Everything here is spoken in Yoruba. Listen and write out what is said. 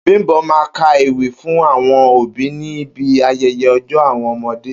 Bím̀bó̩ má a ka ewì fún àwo̩n òbí ní bi aye̩ye̩ o̩jó̩ àwo̩n o̩mo̩dé